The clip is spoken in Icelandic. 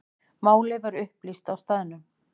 Málið var upplýst á staðnum.